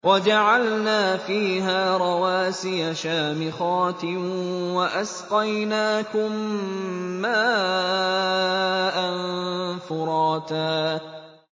وَجَعَلْنَا فِيهَا رَوَاسِيَ شَامِخَاتٍ وَأَسْقَيْنَاكُم مَّاءً فُرَاتًا